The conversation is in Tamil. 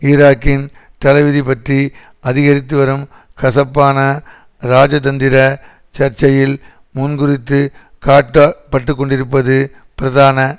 ஈராக்கின் தலைவிதி பற்றி அதிகரித்து வரும் கசப்பான இராஜதந்திர சர்ச்சையில் முன்குறித்துக் காட்ட பட்டுக்கொண்டிருப்பது பிரதான